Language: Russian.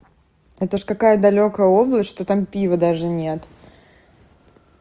это же такая далёкая область что там пиво даже нет